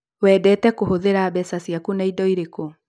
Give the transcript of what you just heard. Wendete kũhũthĩra mbeca ciaku na indo irĩkũ?